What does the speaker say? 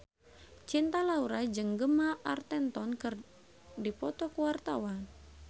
Cinta Laura jeung Gemma Arterton keur dipoto ku wartawan